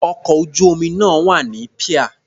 Ọkọ̀ ojú-omi náà wà ní píà.